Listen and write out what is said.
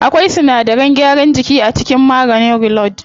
Akwai sinadaran gyaran jiki a cikin maganin reload.